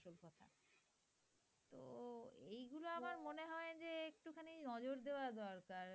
নজর দেওয়া দরকার।